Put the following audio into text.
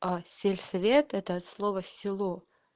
а сельсовет это от слова село